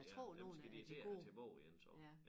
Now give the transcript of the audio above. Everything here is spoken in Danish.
Ja dem skal de til at have tilbage igen så